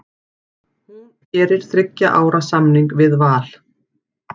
Hún gerir þriggja ára samning við Val.